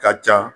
Ka ca